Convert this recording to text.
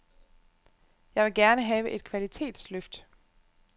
Jeg vil gerne have et kvalitetsløft.